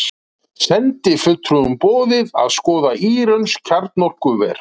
Sendifulltrúum boðið að skoða írönsk kjarnorkuver